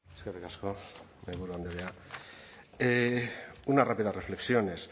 eskerrik asko mahaiburu andrea unas rápidas reflexiones